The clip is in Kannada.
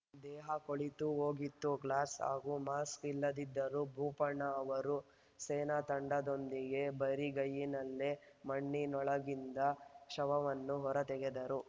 ದೇಹ ಕೊಳೆತು ಹೋಗಿತ್ತು ಗ್ಲೌಸ್‌ ಹಾಗೂ ಮಾಕ್ಸ್‌ ಇಲ್ಲದಿದ್ದರೂ ಭೂಪಣ್ಣ ಅವರು ಸೇನಾ ತಂಡದೊಂದಿಗೆ ಬರಿಗೈನಲ್ಲೇ ಮಣ್ಣಿನೊಳಗಿಂದ ಶವವನ್ನು ಹೊರ ತೆಗೆದರು